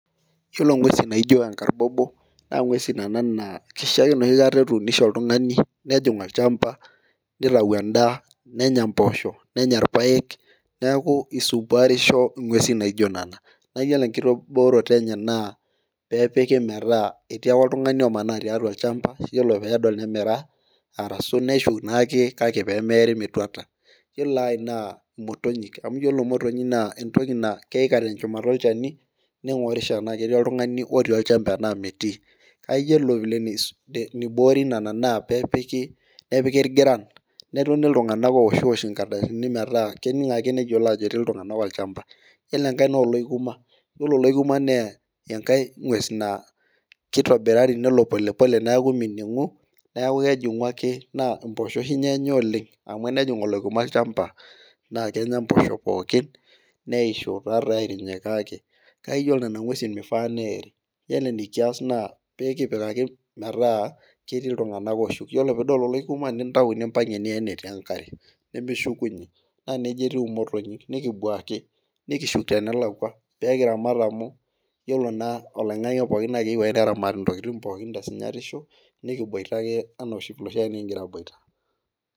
Iyiolo nguesin naijo enkarbobo, naa ng'uesin nena naa kisho ake naaji etuunisho oltungani, nitau edaa nenya mpoosho nenys ilbaeke, kisumpuarisho nguesin naijo nena. Ore enkibooroto enye etii ake oltungani omanaa tiatua olchampa. Iyiolo peedol nemanaa, aaraa. Neshuku naake peemiri metuata. Ore ae naa motonyik, ore motonyik naa meeri metuata, keyika te shumata olchani. Ningorisho tenaa ketii oltungani otii olchampa enaa metii, naa iyiolo eniboori nena pee epiki ilgiran. Netoni iltunganak oishoosh nkardasini metaa keningo ake iltunganak ajo ketii olchampa. Iyiolo enkae naa olooikuma, engues naa kelo akiti neeku miningu Nas impoosho oshi ninye Enya oleng. amu enejing olooikuma olchampa naa kenya mpoosho pookin neishu. iyiolo enikias naa pee kinyikaki metaa ketii iltunganak ooshuk. iyiolo pee idol olooikuma nintau nimpang' ie tenkare peeshukuny. naa nejia etiu imotonyik, pee kibuaki tenelakua. Pee kiramat amu iyiolo naa oloingang'e pookin keyieu ake neramati ntokitin pookin tesinyatisho. nikiboita eka ana enoshiake nikigira aboita.